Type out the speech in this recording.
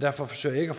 derfor forsøger jeg ikke